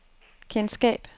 kendskab